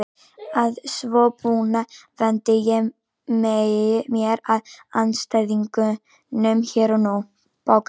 Að svo búnu vendi ég mér að andstæðingunum hér og nú.